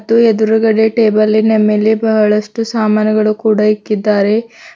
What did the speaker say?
ಥೂ ಎದುರುಗಡೆ ಟೇಬಲಿನ ಮೇಲೆ ಬಹಳಷ್ಟು ಸಾಮಾನುಗಳು ಇಕ್ಕಿದ್ದಾರೆ.